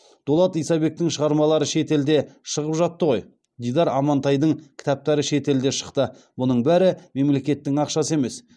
дулат исабектің шығармалары шетелде шығып жатты ғой дидар амантайдың кітаптары шетелде шықты бұның бәрі мемлекеттің ақшасы емес